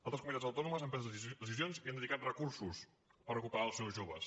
altres comunitats autònomes han pres decisions i han dedicat recursos per recuperar els seus joves